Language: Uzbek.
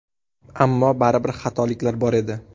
Ammo baribir xatoliklar bor edi.